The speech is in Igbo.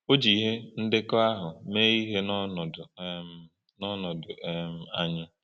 O ji ihe ndekọ ahụ mee ihe n’ọnọdụ um n’ọnọdụ um anyị.